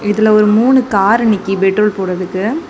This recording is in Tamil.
இதுல ஒரு மூணு காரு நிக்கி பெட்ரோல் போடறதுக்கு.